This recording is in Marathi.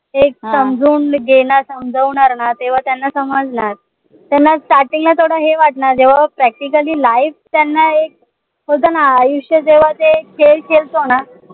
ते समजावून देणार समजावणार ना तेव्हा त्यांना समजणार त्यांना starting ला थोडं हे वाटणार जेव्हा Practically live त्यांना एक होत ना आयुष्य जेव्हा ते खेळ खेळतो ना